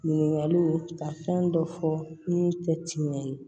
Ɲininkaliw ka fɛn dɔ fɔ n'u tɛ timinan ye